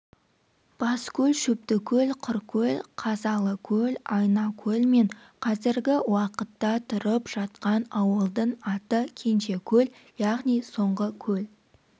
баскөл шөптікөл құркөл қазалыкөл айнакөл мен қазіргі уақытта тұрып жатқан ауылдың аты кенжекөл яғни соңғы көл